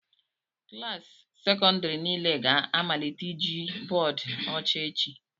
Klaasị sekọndrị niile ga-amalite iji bọọdụ ọcha echi